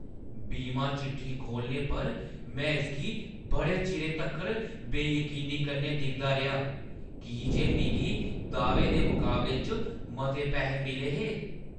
बीमा चिट्ठी खोह्‌लने पर, में इसगी बड़े चिरे तक्कर बेयकीनी कन्नै दिखदा रेहा की जे मिगी दाह्‌वे दे मकाबले च मते पैसे मिले हे ।